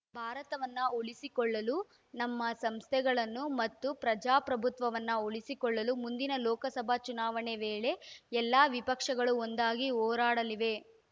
ಭಾರತವನ್ನು ಉಳಿಸಿಕೊಳ್ಳಲು ನಮ್ಮ ಸಂಸ್ಥೆಗಳನ್ನು ಮತ್ತು ಪ್ರಜಾಪ್ರಭುತ್ವವನ್ನು ಉಳಿಸಿಕೊಳ್ಳಲು ಮುಂದಿನ ಲೋಕಸಭಾ ಚುನಾವಣೆ ವೇಳೆ ಎಲ್ಲಾ ವಿಪಕ್ಷಗಳು ಒಂದಾಗಿ ಹೋರಾಡಲಿವೆ